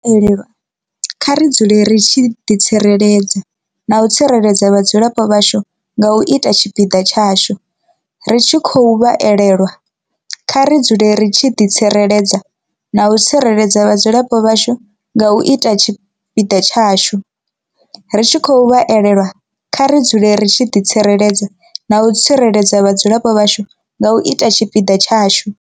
Ri tshi khou vha elelwa, kha ri dzule ri tshi ḓi tsireledza na u tsireledza vhadzulapo vhashu nga u ita tshipiḓa tshashu. Ri tshi khou vha elelwa, kha ri dzule ri tshi ḓi tsireledza na u tsireledza vhadzulapo vhashu nga u ita tshipiḓa tshashu. Ri tshi khou vha elelwa, kha ri dzule ri tshi ḓi tsireledza na u tsireledza vhadzulapo vhashu nga u ita tshipiḓa tshashu.